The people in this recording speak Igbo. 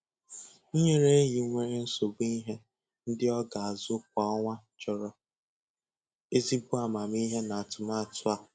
Inyere enyi nwere nsogbu ihe ndị ọ ga-azụ kwa ọnwa chọrọ ezigbo amamihe n'atụmatụ a.